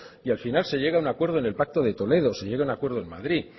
y al final se llega a un acuerdo en el pacto de toledo se llega a un acuerdo en madrid